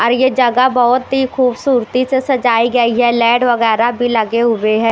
और ये जगह बहुत ही खूबसूरती से सजाई गई है लेड वगैरह भी लगे हुए हैं।